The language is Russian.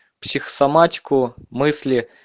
психосоматику мысли